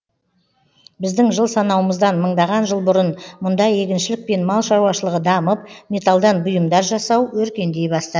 біздің жыл санауымыздан мыңдаған жыл бұрын мұнда егіншілік пен мал шаруашылығы дамып металдан бұйымдар жасау өркендей бастады